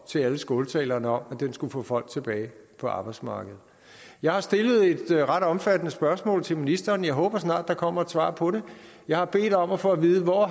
til alle skåltalerne om at den skulle få folk tilbage på arbejdsmarkedet jeg har stillet et ret omfattende spørgsmål til ministeren jeg håber der snart kommer et svar på det jeg har bedt om at få at vide hvor